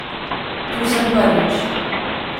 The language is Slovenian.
Tu sem prvič.